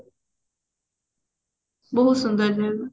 ବହୁତ ସୁନ୍ଦର ଲାଗିବ